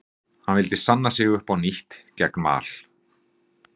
Hann vildi sanna sig upp á nýtt gegn Val.